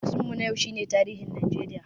Darasin mu na yau shi ne tarihin Najeriya